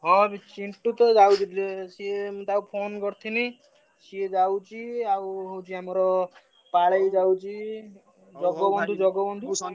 ହଁ ରେ ଚିଣ୍ଟୁ ତ ଯାଉଛି ଟିକେ ସିଏ ମୁଁ ତାକୁ phone କରିଥିଲି ସିଏ ଯାଉଛି ଆଉ ହଉଛି ଆମର ପାଳେଇ ଯାଉଛି ଜଗବନ୍ଧୁ ଜଗବନ୍ଧୁ,